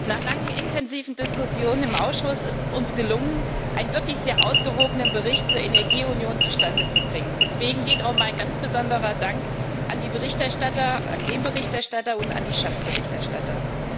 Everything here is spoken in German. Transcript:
Nach langen intensiven Diskussionen im Ausschuss ist es uns gelungen, einen wirklich sehr ausgewogenen Bericht zur Energieunion zustande zu bringen. Deswegen geht auch mein ganz besonderer Dank an den Berichterstatter und an die Schattenberichterstatter.